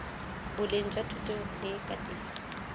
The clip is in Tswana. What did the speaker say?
boleng jwa thuto le katiso